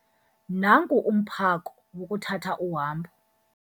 Nangu umphako wokuthatha uhambo.